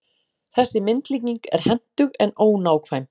Þessi myndlíking er hentug, en ónákvæm.